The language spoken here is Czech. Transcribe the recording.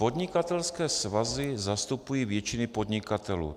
Podnikatelské svazy zastupují většinu podnikatelů.